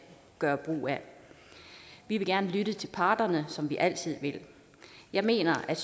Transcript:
gøre brug af vi vil gerne lytte til parterne som vi altid vil jeg mener at